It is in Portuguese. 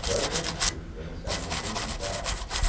Agora tem curso de gerenciamento ambiental.